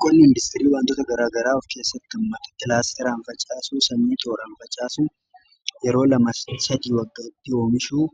Qonna industirii wantoota garaagaraa of keessatti hammata. Kilaastaraan facaasuu sanyii tooraan facaasu yeroo lama sadii waggaaatti oomishuu